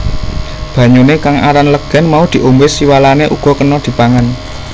Banyuné kang aran legèn mau diombé siwalané uga kéna dipangan